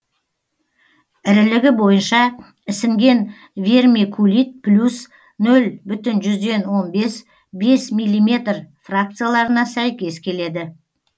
ірілігі бойынша ісінген вермикулит плюс нөл бүтін жүзден он бес бес миллиметр фракцияларына сәйкес келеді